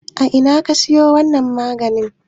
A ina kika siyo wannan maganin?